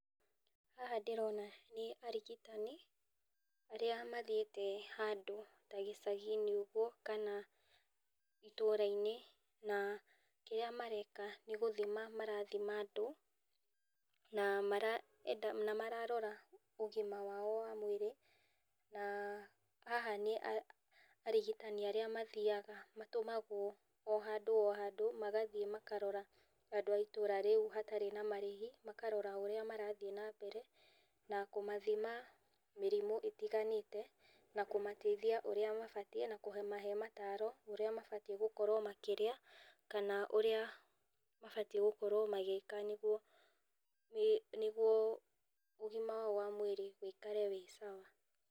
Haha ndĩrona nĩ arigitani , arĩa mathiĩte handũ ta gĩcagi-inĩ ũguo kana itũra-inĩ, na kĩrĩa mareka nĩgũthima marathima andũ na maraenda ,na mararora ũgima wao wa mwĩrĩ ,na haha nĩ arigitani arĩa mathiaga, matũmagwo handũ o handũ magathiĩ makarora andũ a itũra rĩu hatarĩ na marĩhi, makarora ũrĩa marathiĩ na mbere, na kũmathima mĩrimũ ĩtiganĩte, na kũmateithia ũrĩa mabatiĩ na kũmahe mataaro, ũrĩa mabatiĩ gũkorwo makĩrĩa kana ũrĩa mabatiĩ gũkorwo magĩka nĩguo ũgima wao wa mwĩrĩ wĩikare wĩ sawa.